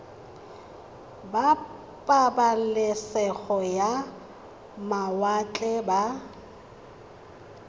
ba pabalesego ya mawatle ba